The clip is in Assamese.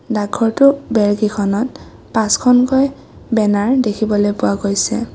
ডাক ঘৰটোৰ বেৰকেইখনত পাঁচখনকৈ বেনাৰ দেখিবলৈ পোৱা গৈছে।